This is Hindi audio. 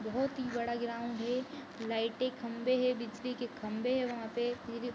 बहुत ही बड़ा ग्राउंड है लाइट खंभे है बिजली के खंबे है वहां पर इर --